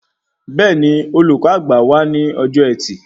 Bẹẹni, olùkọ àgbà wá ní ọjọ ẹtì